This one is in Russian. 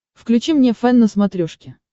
включи мне фэн на смотрешке